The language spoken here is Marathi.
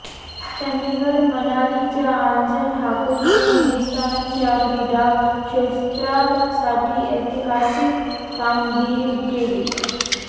चंदिगड मनालीच्या आंचल ठाकूरने हिंदुस्थानच्या क्रीडा क्षेत्रासाठी ऐतिहासिक कामगिरी केली